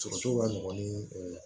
Sɔrɔcogo ka nɔgɔn ni